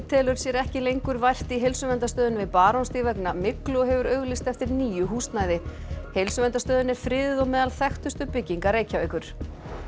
telur sér ekki lengur vært í Heilsuverndarstöðinni við Barónsstíg vegna myglu og hefur auglýst eftir nýju húsnæði heilsuverndarstöðin er friðuð og meðal þekktustu bygginga Reykjavíkur